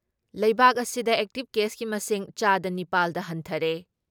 ꯂꯩꯕꯥꯛ ꯑꯁꯤꯗ ꯑꯦꯛꯇꯤꯞ ꯀꯦꯁꯀꯤ ꯃꯁꯤꯡ ꯆꯥꯗ ꯅꯤꯄꯥꯜ ꯗ ꯍꯟꯊꯔꯦ ꯫